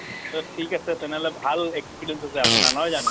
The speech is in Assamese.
টো ঠিক আছে তেনেহলে , ভাল experience আছে আপোনাৰ নহয় জানো ?